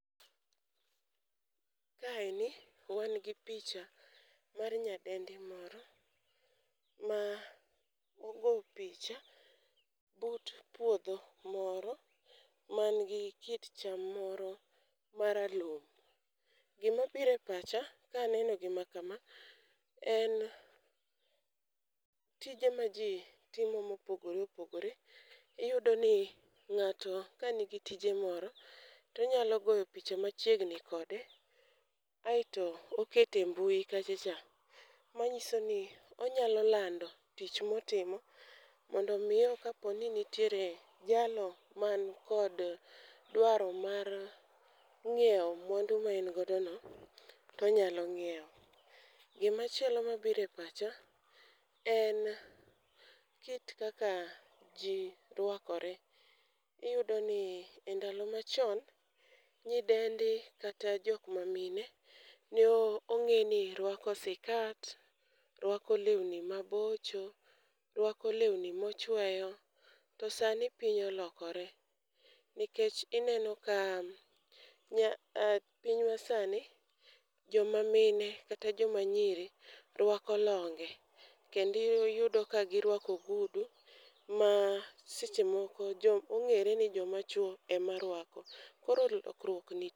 Kaeni wan gi picha mar nyadendi moro ma ogo picha but puodho moro man gi kit cham moro maralum. Gima bire pacha kaneno gima kama en tije ma jii timo mopogore opogore . Iyudo ni ng'ato ka nigi tije moro tonyalo goyo picha machiegni kode aeto okete mbui kacha cha mnyiso ni onyalo lando tich motimo mondo miyo kapo ni nitiere jalno man kod dwaro mar ng'iewo mwandu ma en godo no tonyalo ng'iewo. Gima chielo mabire pacha en kit kaka jii rwakore. Iyudo ni e ndalo machon, nyidendi kata jok mamine ne o ong'e ni rwako sikat ,rwako lewni mabocho , rwako lewni mochweyo. To sani piny olokore nikech ineno ka nya piny ma sani joma mine kata joma nyiri rwako longe kendi yudo kagirwako ogudu ma seche moko jo ong'ere ni joma chuo ema rwako koro lokruok nitie.